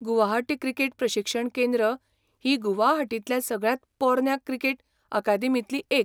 Guwahati cricket प्रशिक्षण केंद्र ही गुवाहाटींतल्या सगळ्यांत पोरन्या क्रिकेट अकादेमींतली एक.